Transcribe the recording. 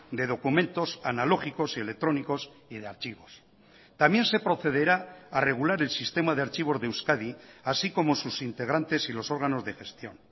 de documentos analógicos y electrónicos y de archivos también se procederá a regular el sistema de archivos de euskadi así como sus integrantes y los órganos de gestión